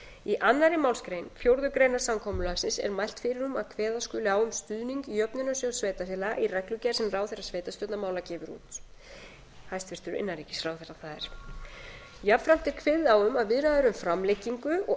í annarri málsgrein fjórðu grein samkomulagsins er mælt fyrir um að kveða skuli á um stuðning jöfnunarsjóðs sveitarfélaga í reglugerð sem ráðherra sveitarstjórnarmála það er hæstvirtur innanríkisráðherra gefur út jafnframt er kveðið á um að viðræður um framlengingu og